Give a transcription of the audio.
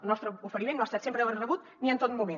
el nostre oferiment no ha estat sempre ben rebut ni en tot moment